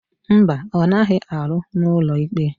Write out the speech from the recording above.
Mba, ọ naghị arụ n'ụlọikpe.